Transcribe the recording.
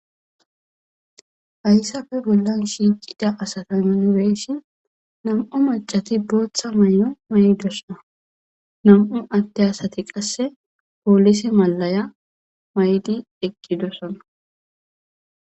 Hayssafe bollan shiicida asata minureessi nam7u macati booththa may7o maydosana nam7u atte asati qasse poolise malaya maydi eqqidosana.